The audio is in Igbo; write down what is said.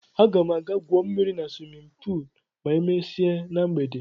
Aga m aga gwuo mmiri na swimin puul ma emesie na mgbede.